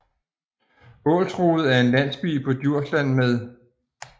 Ålsrode er en landsby på Djursland med